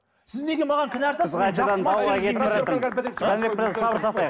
сіз неге маған кінә артасыз